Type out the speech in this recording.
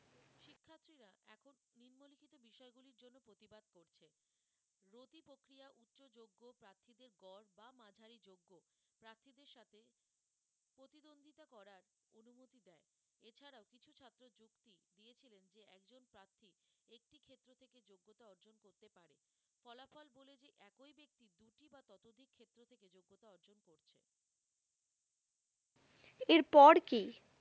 এরপর কি